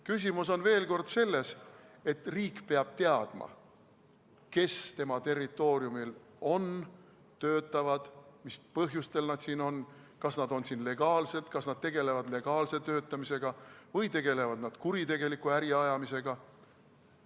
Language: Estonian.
Küsimus on, veel kord, selles, et riik peab teadma, kes tema territooriumil on ja töötavad, mis põhjusel nad siin on, kas nad on siin legaalselt, kas nad tegelevad legaalse töötamisega või tegelevad nad kuritegeliku äri ajamisega.